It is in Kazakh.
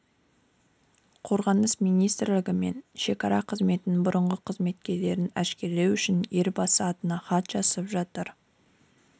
қорғаныс министрлігі мен шекара қызметінің бұрынғы қызметкерлерін әшкерелеу үшін елбасы атына хат жазып жатыр деп